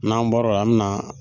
N'an bɔra o la an me na